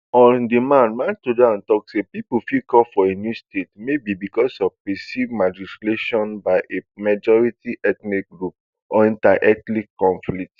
on demand maisudan tok say pipo fit call for a new state maybe bicos of percived marginalisation by a majority ethnic group or interethnic conflicts